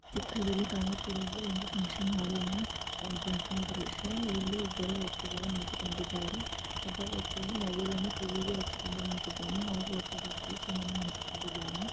ಚಿತ್ರದಲ್ಲಿ ಕಾಣುತ್ತಿರೋದು ಒಂದು ಫ್ಹಂಕ್ಷನ್ ಹಾಲಿನ ಎಂಟ್ರನ್ಸ್ನ ದೃಶ್ಯ ಇಲ್ಲಿ ಇಬ್ಬರು ವ್ಯಕ್ತಿಗಳು ನಿಂತುಕೊಂಡಿದ್ದಾರೆ ಒಬ್ಬ ವ್ಯಕ್ತಿಯು ಮೊಬೈಲ್ ಅನ್ನು ಕಿವಿಗೆ ಅಚ್ಚಿ ಕೊಂಡು ನಿಂತಿದ್ದಾನೆ ಹಾಗು ಒಬ್ಬವ್ಯಕ್ತಿಯು ಸುಮ್ಮನೆ ನಿಂತುಕೊಂಡಿದ್ದಾನೆ.